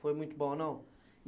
Foi muito bom, não?